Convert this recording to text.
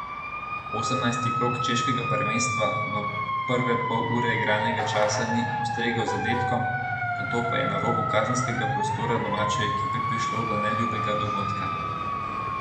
Osemnajsti krog češkega prvenstva v prve pol ure igralnega časa ni postregel z zadetkom, nato pa je na robu kazenskega prostora domače ekipe prišlo do neljubega dogodka.